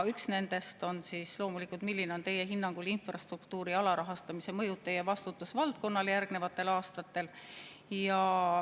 Üks nendest on loomulikult see: milline on teie hinnangul infrastruktuuri alarahastamise mõju teie vastutusvaldkonnale järgnevatel aastatel?